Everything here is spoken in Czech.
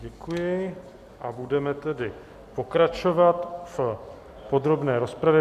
Děkuji a budeme tedy pokračovat v podrobné rozpravě.